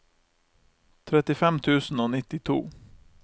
trettifem tusen og nittito